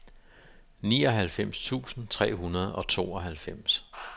nioghalvfems tusind tre hundrede og tooghalvfems